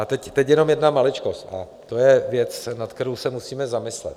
A teď jenom jedna maličkost a to je věc, nad kterou se musíme zamyslet.